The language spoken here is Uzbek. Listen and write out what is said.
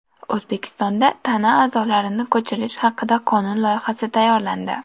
O‘zbekistonda tana a’zolarini ko‘chirish haqida qonun loyihasi tayyorlandi.